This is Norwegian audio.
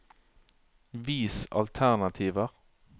Vis alternativer